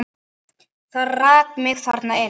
Það rak mig þarna inn.